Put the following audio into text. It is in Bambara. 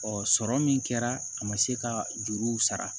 sɔrɔ min kɛra a ma se ka juruw sara